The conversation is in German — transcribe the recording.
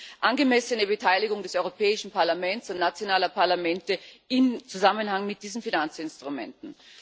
um die angemessene Beteiligung des Europäischen Parlaments und nationaler Parlamente in Zusammenhang mit diesen Finanzinstrumenten.